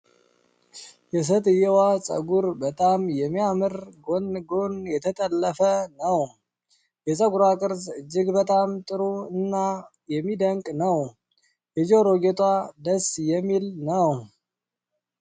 የሴትየዋ ጸጉር በጣም የሚያምር ጎን ጎን የተጠለፈ ነው። የፀጉሯ ቅርጽ እጅግ በጣም ጥሩ እና የሚደንቅ ነው። የጆሮ ጌጧ ደስ የሚል ነው።